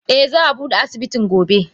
Eh za abude asibitin gobe.